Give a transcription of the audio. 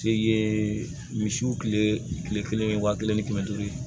Se ye misiw kile kelen ye wa kelen ni kɛmɛ duuru ye